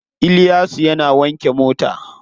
Iliyasu yana wanke mota.